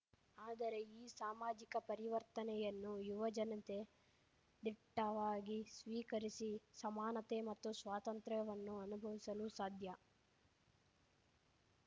ಆದರೆ ಈ ಸಾಮಾಜಿಕ ಪರಿವರ್ತನೆಯನ್ನು ಯುವಜನತೆ ದಿಟ್ಟವಾಗಿ ಸ್ವೀಕರಿಸಿ ಸಮಾನತೆ ಮತ್ತು ಸ್ವಾತಂತ್ರ್ಯವನ್ನು ಅನುಭವಿಸಲು ಸಾಧ್ಯ